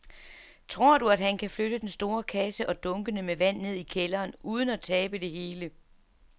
Tror du, at han kan flytte den store kasse og dunkene med vand ned i kælderen uden at tabe det hele?